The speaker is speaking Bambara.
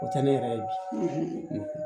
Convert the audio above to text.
O tɛ ne yɛrɛ ye bi